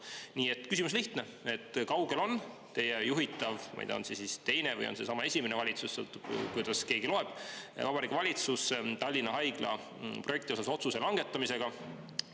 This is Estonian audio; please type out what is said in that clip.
Nii et küsimus on lihtne: kui kaugel on teie juhitav Vabariigi Valitsus – ma ei tea, on see siis teine või on seesama esimene valitsus, sõltub, kuidas keegi loeb – Tallinna Haigla projekti otsuse langetamisega?